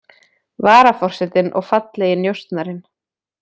Varaforsetinn og fallegi njósnarinn